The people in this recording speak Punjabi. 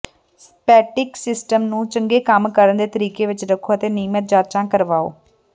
ਸੇਪਟਿਕ ਸਿਸਟਮਾਂ ਨੂੰ ਚੰਗੇ ਕੰਮ ਕਰਨ ਦੇ ਤਰੀਕੇ ਵਿੱਚ ਰੱਖੋ ਅਤੇ ਨਿਯਮਿਤ ਜਾਂਚਾਂ ਕਰਵਾਓ